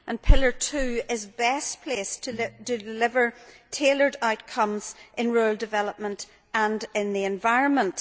Pillar 2 is best placed to deliver tailored outcomes in rural development and in the environment.